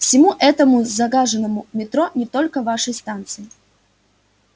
всему этому загаженному метро не только вашей станции